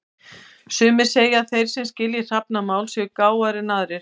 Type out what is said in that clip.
Sumir segja að þeir sem skilji hrafnamál séu gáfaðri en aðrir.